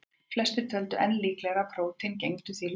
Flestir töldu enn líklegra að prótín gegndu því hlutverki.